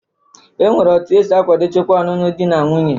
E nwere etu esi akwadocha ọnụnụ dị na nwuńye